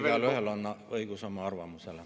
Igaühel on õigus oma arvamusele.